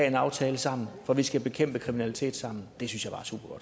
en aftale sammen for vi skal bekæmpe kriminalitet sammen det synes